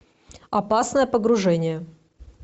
опасное погружение